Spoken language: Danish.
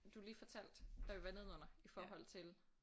Du lige fortalte da vi var nedenunder i forhold til